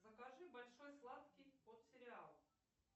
закажи большой сладкий под сериал